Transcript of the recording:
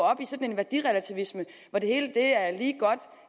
op i sådan en værdirelativisme hvor det hele